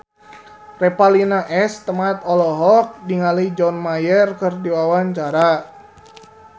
Revalina S. Temat olohok ningali John Mayer keur diwawancara